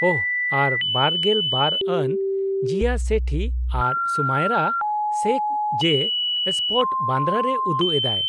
-ᱳᱦᱚ, ᱟᱨ ᱒᱒ ᱟᱱ ᱡᱤᱭᱟ ᱥᱮᱴᱷᱤ ᱟᱨ ᱥᱩᱢᱟᱭᱨᱟ ᱥᱮᱠᱷ ᱡᱮ ᱥᱯᱚᱴ, ᱵᱟᱱᱫᱨᱟ ᱨᱮ ᱩᱫᱩᱜ ᱮᱫᱟᱭ ᱾